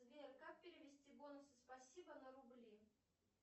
сбер как перевести бонусы спасибо на рубли